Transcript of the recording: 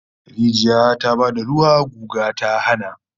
Rijiya ta ba da ruwa, guga ta hana